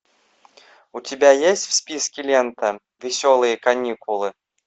у тебя есть в списке лента веселые каникулы